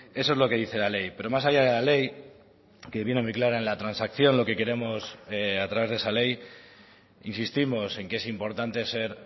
eso es lo que dice la ley pero más allá de la ley que viene muy clara en la transacción lo que queremos a través de esa ley insistimos en que es importante ser